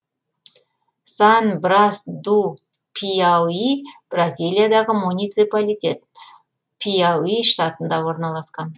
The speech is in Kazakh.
сан брас ду пиауи бразилиядағы муниципалитет пиауи штатында орналасқан